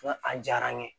Nka a diyara n ye